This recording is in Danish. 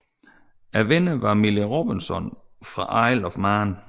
Vinderen var Millie Robinson fra Isle of Man